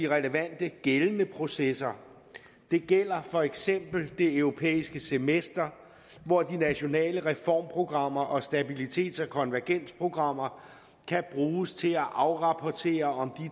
relevante gældende processer det gælder for eksempel det europæiske semester hvor de nationale reformprogrammer og stabilitets og konvergensprogrammer kan bruges til at afrapportere om